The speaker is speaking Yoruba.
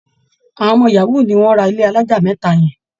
Àwọn ọmọ yahoo ni wọ́n ra ilé alájà mẹ́ta yẹn